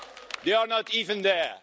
They are not even there.